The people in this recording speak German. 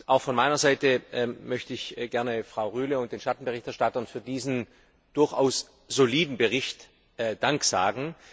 Auch von meiner Seite möchte ich gerne Frau Rühle und den Schattenberichterstattern für diesen durchaus soliden Bericht Dank sagen.